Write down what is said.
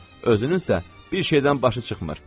Özünün isə bir şeydən başı çıxmır.